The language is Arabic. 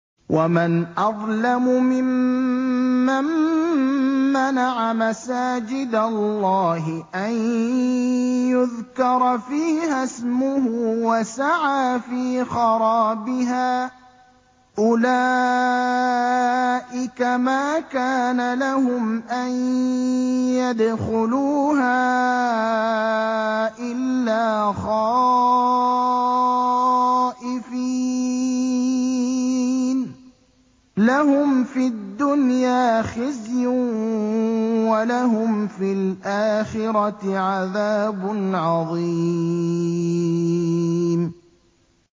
وَمَنْ أَظْلَمُ مِمَّن مَّنَعَ مَسَاجِدَ اللَّهِ أَن يُذْكَرَ فِيهَا اسْمُهُ وَسَعَىٰ فِي خَرَابِهَا ۚ أُولَٰئِكَ مَا كَانَ لَهُمْ أَن يَدْخُلُوهَا إِلَّا خَائِفِينَ ۚ لَهُمْ فِي الدُّنْيَا خِزْيٌ وَلَهُمْ فِي الْآخِرَةِ عَذَابٌ عَظِيمٌ